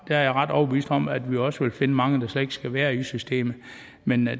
jeg ret overbevist om at vi også vil finde mange der slet ikke skal være i systemet men